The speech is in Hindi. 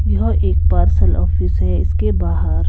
यहां एक पार्सल ऑफ़िस है इसके बाहर--